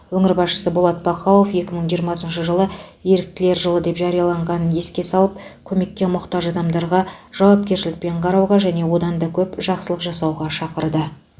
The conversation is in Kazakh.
өңір басшысы болат бақауов екі мың жиырмасыншы жылы еріктілер жылы деп жарияланғанын еске салып көмекке мұқтаж адамдарға жауапкершілікпен қарауға және одан да көп жақсылық жасауға шақырды